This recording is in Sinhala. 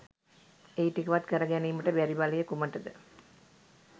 ඒ ටිකවත් කර ගැනීමට බැරිබලය කුමටද?